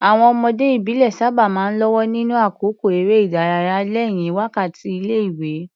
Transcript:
Àwọn ọmọdé ìbílẹ̀ sábà máa ń lọ́wọ́ nínú àkókò eré ìdárayá lẹ́yìn wákàtí ilé-ìwé.